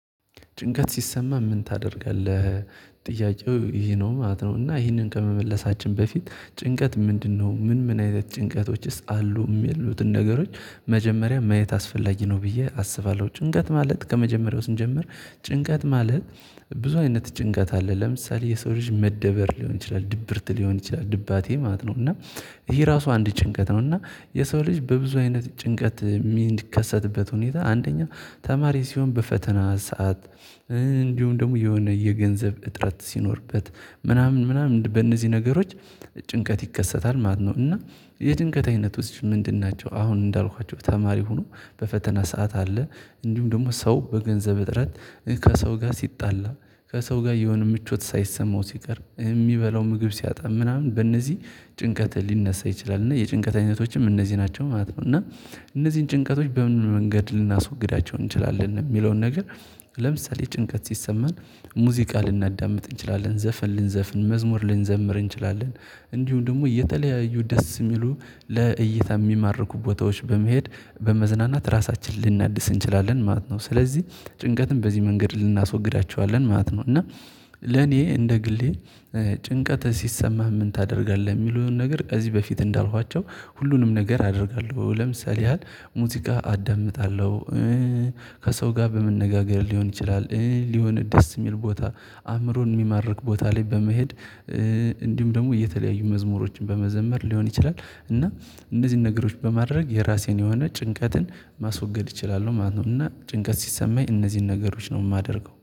ጭንቀት ሲሰማህ ምን ታደርጋለህ? ጥያቄው ይሄ ነው ማለት ነው። እና ይሄንን ከመመለሳችን በፊት ጭንቀት ምንድነው ምን ምን አይነት ጭንቀቶችስ አሉ እሚሉትን ነገሮች። መጀመሪያ ማየት አስፈላጊ ነው ብዬ አስባለሁ። ጭንቀት ማለት ከመጀመሪያው ስንጀምር ጭንቀት ማለት። ብዙ አይነት ጭንቀት አለ ለምሳሌ የሰው ልጅ መደበር ሊሆን ይችላል ድብርት ሊሆን ይችላል ድባቴ ማለት ነው እና። ይሄ እራሱ አንድ ጭንቀት ነው እና። የሰው ልጅ በብዙ አይነት ጭንቀት የሚከሰትበት ሁኔታ አንደኛው ተማሪ ሲሆን በፈተና ሰዓት። እንዲሁም ደግሞ የሆነ የገንዘብ እጥረት ሲኖርበት ምናምን ምናምን በእነዚህ ነገሮች። ጭንቀት ይከሰታል ማለት ነው። እና የጭንቀት አይነት ውስጥ ምንድን ናቸው አሁን እንዳልኳቸው ተማሪ ሆኖ በፈተና ሰዓት አለ። እንዲሁም ደግሞ ሰው በገንዘብ እጥረት። ከሰው ጋር ሲጣላ ከሰው ጋር የሆነ ምቾት ሳይሰማው ሲቀር እሚበላው ምግብ ሲያጣ ምናምን በእነዚህ ጭንቀት ሊነሳ ይችላል። እና የጭንቀት አይነቶችም እነዚህ ናቸው ማለት ነው። እና እነዚህን ጭንቀቶች በምን መንገድ ልናስወግዳቸው እንችላለን? የሚለውን ነገር ለምሳሌ ጭንቀት ሲሰማን ሙዚቃ ልናዳምጥ እንችላለን ዘፈን ልንዘፍን መዝሙር ልንዘምር እንችላለን። እንዲሁም ደግሞ የተለያዩ ደስ እሚሉ ለእይታ እሚማርኩ ቦታዎች በመሄድ በመዝናናት ራሳችንን ልናድስ እንችላለን ማለት ነው። ስለዚህ ጭንቀትን በዚህ መንገድ እናስወግዳቸዋለን ማለት ነው። እና ለኔ እንደ ግሌ ጭንቀት ሲሰማህ ምን ታደርጋለህ? የሚለውን ነገር ከዚህ በፊት እንዳልኳቸው ሁሉንም ነገር አደርጋለሁ ለምሳሌ ያህል ሙዚቃ አዳምጣለሁ። ከሰው ጋር በመነጋገር ሊሆን ይችላል የሆነ ደስ የሚል ቦታ አእምሮን የሚማርክ ቦታ ላይ በመሄድ። እንዲሁም ደግሞ እየተለያዩ መዝሙሮችን በመዘመር ሊሆን ይችላል። እና እነዚህን ነገሮች በማድረግ የራሴን የሆነ ጭንቀትን ማስወገድ እችላለሁ ማለት ነው። እና ጭንቀት ሲሰማኝ እነዚህን ነገሮች ነው እማደርገው